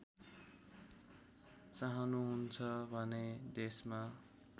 चाहनुहुन्छ भने देशमा